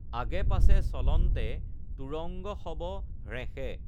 আগে পাচে চলন্তে তুৰঙ্গ সব হ্ৰেঁষে।